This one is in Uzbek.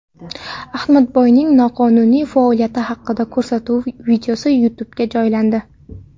Ahmadboyning noqonuniy faoliyati haqidagi ko‘rsatuv videosi YouTube’ga joylandi .